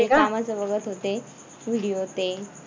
कामाचं बघत होते video ते